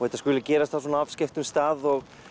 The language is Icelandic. þetta skuli gerast á svona afskekktum stað og